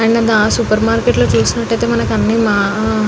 హ్హా మనము హ supermarket లో ఉనది మనకు కావలిస్న ఉనది